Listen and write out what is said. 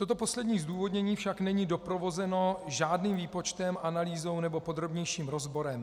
Toto poslední zdůvodnění však není doprovázeno žádným výpočtem, analýzou nebo podrobnějším rozborem.